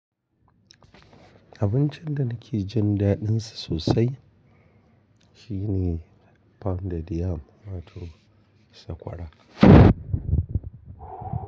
Abincin da nake jin daɗinsa sosai shine pounded yam wato sakwara.